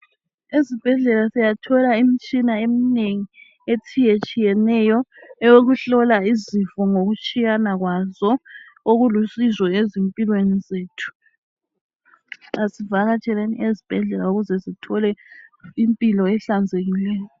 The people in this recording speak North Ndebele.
Ezibhedlela siyathola imitshina eminengi etshiyetshiyeneyo eyokuhlola izifo ngokutshiyana kwazo okulusizo ezimpilweni zethu. Asivakatsheleni ezibhedlela ukuze Sithole impilo ehlanzekileyo